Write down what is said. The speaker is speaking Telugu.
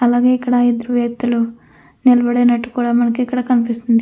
అలాగే ఇక్కడ ఇద్దరు వ్యక్తులు నిలబడినట్టు కూడా మనకిక్కడ కనిపిస్తుంది.